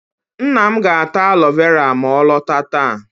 Nna m ga-ata alo vera ma ọ lọta taa.